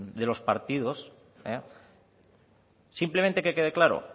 de los partidos simplemente que quede claro